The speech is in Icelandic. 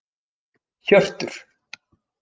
Hjörtur